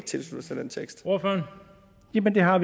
tilsluttet sig den tekst eller har